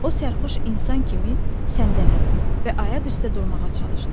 O sərxoş insan kimi səndələdi və ayaq üstə durmağa çalışdı.